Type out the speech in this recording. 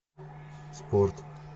спорт